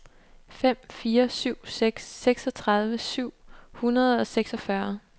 fem fire syv seks seksogtredive syv hundrede og seksogfyrre